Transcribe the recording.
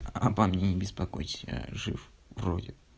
обо мне не беспокойтесь я жив вроде